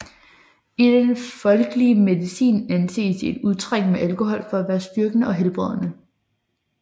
I den folkelige medicin anses et udtræk med alkohol for at være styrkende og helbredende